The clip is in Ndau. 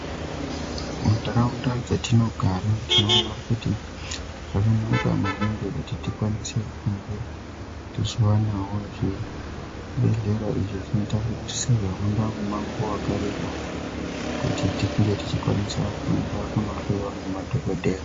Munharaunda dzatinogara tinoona kuti zvakanaka maningi kuti tikwanise kunge tichivanavo zvibhedhlera. Izvi zvinoita kuti tihambe mumango vakareba kuti tinge tichikwanisa kuenda kunohloyiwa ngema dhogodheya.